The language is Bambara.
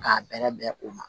K'a bɛrɛ bɛn o ma